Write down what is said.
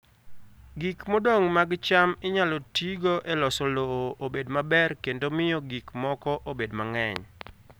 Gik modong' mag cham inyalo tigo e loso lowo obed maber kendo miyo gik moko obed mang'eny.